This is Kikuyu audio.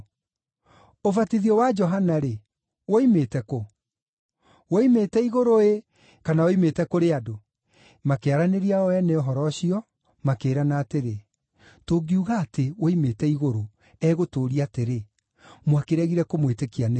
Ũbatithio wa Johana-rĩ, woimĩte kũ? Woimĩte igũrũ-ĩ, kana woimĩte kũrĩ andũ?” Makĩaranĩria o ene ũhoro ũcio, makĩĩrana atĩrĩ, “Tũngiuga atĩ, ‘Woimĩte igũrũ’, egũtũũria atĩrĩ, ‘Mwakĩregire kũmwĩtĩkia nĩkĩ?’